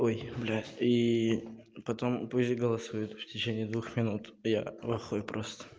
ой блядь и потом пусть голосуют в течение двух минут я в ахуе просто